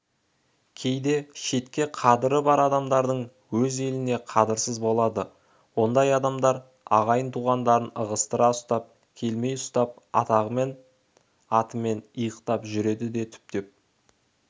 кейде шетке қадыры бар адамдардың өз еліне қадырсызы болады ондай адамдар ағайын-туғандарын ығыстыра ұстап елемей ұстап атағымен атымен иықтап жүреді де түптеп